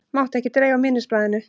Mátti ekki dreifa minnisblaðinu